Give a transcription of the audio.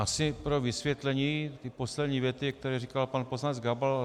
Asi pro vysvětlení té poslední věty, kterou říkal pan poslanec Gabal.